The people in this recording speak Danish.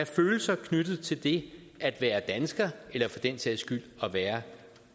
følelser knyttet til det at være dansker eller for den sags skyld at være